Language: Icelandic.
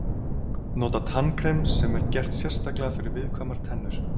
Nota tannkrem sem er gert sérstaklega fyrir viðkvæmar tennur.